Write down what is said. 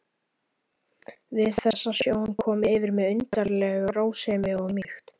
Við þessa sjón kom yfir mig undarleg rósemi og mýkt.